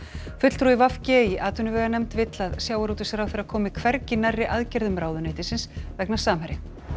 fulltrúi v g í atvinnuveganefnd vill að sjávarútvegsráðherra komi hvergi nærri aðgerðum ráðuneytisins vegna Samherja